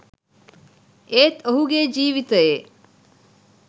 ඒත් ඔහුගේ ජීවිතයේ